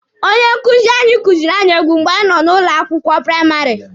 Onye nkuzi anyị kuziiri anyị egwu mgbe anyị nọ ụlọ akwụkwọ praịmarị.